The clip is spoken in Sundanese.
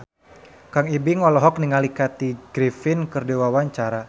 Kang Ibing olohok ningali Kathy Griffin keur diwawancara